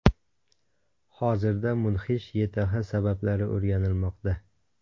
Hozirda mudhish YTH sabablari o‘rganilmoqda.